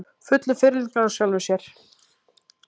Fullur fyrirlitningar á sjálfum sér.